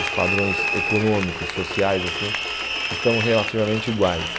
Os padrões econômicos, sociais, assim, estão relativamente iguais.